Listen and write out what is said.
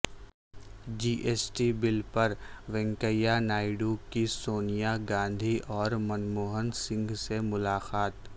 جی S T bill پر وینکیا نائیڈو کی سونیا گاندھی اور منموہن سنگھ سے ملاقات